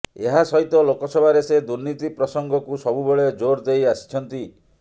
ଏହା ସହିତ ଲୋକସଭାରେ ସେ ଦୁର୍ନୀତି ପ୍ରସଙ୍ଗକୁ ସବୁବେଳେ ଜୋର ଦେଇ ଆସିଛନ୍ତି